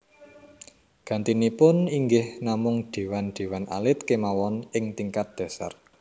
Gantinipun inggih namung déwan déwan alit kémawon ing tingkat dhasar